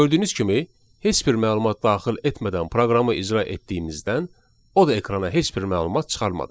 Gördüyünüz kimi heç bir məlumat daxil etmədən proqramı icra etdiyimizdən o da ekrana heç bir məlumat çıxarmadı.